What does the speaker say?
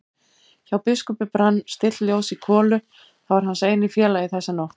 Hjá biskupi brann stillt ljós í kolu, það var hans eini félagi þessa nótt.